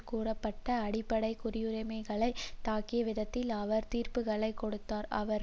கூறப்பட்ட அடிப்படை குடியுரிமைகளை தாக்கிய விதத்தில் அவர் தீர்ப்புக்களை கொடுத்தார் அவரை